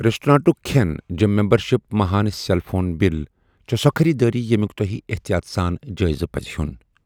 ریسٹورنٹٗك كھین ، gym membership, ماہانہٕ cell phone bill چھِ سو٘ خریدٲری ییمِیوٗك توہہِ احتیات سان جٲیزٕپزِ ہِیو٘ن۔